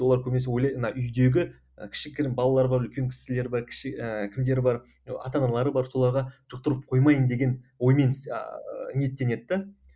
олар көбінесе ойлайды мына үйдегі і кішігірім балалар бар үлкен кісілер бар кіші і кімдер бар ата аналары бар соларға жұқтырып қоймайын деген оймен іс ыыы ниеттенеді де